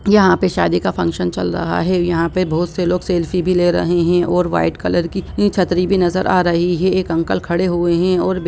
यहाँ पे शादी का फंक्शन चल रहा है यहाँ पे बहुत से लोग सेल्फी भी ले रहे है और वाइट कलर की छतरी भी नजर आ रही है एक अंकल खड़े हुए है और भी --